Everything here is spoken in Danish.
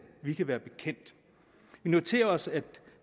vi kan være bekendt vi noterer os at